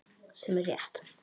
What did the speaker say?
Sem er rétt.